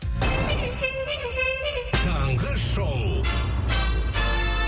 таңғы шоу